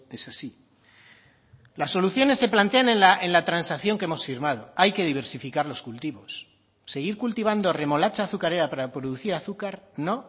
es así las soluciones se plantean en la transacción que hemos firmado hay que diversificar los cultivos seguir cultivando remolacha azucarera para producir azúcar no